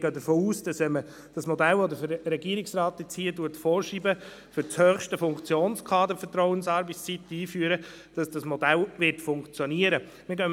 Wir gehen davon aus, dass das Modell, das der Regierungsrat hier vorschreibt, nämlich die Vertrauensarbeitszeit für das höchste Funktionskader einzuführen, funktionieren wird.